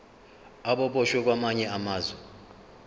ababoshwe kwamanye amazwe